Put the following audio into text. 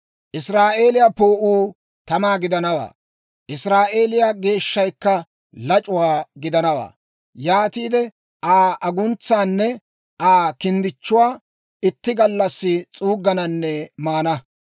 Israa'eeliyaa Poo'uu tamaa gidanawaa; Israa'eeliyaa Geeshshaykka lac'uwaa gidanawaa; yaatiide Aa aguntsaanne Aa kinddichchuwaa itti gallassi s'uuggananne maana.